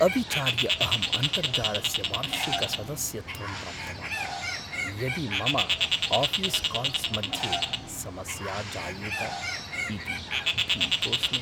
अविचार्य अहं अन्तर्जालस्य वार्षिकसदस्यत्वं प्राप्तवान्, यदि मम आऴीस् काल्स् मध्ये समस्या जायेत इति भीतोस्मि।